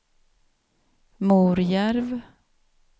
Morjärv